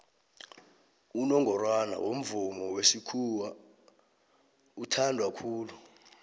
unongorwana womvomo wesikhawa uthandwa khulu